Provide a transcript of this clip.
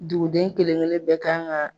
Duguden kelenkelen bɛ kan ka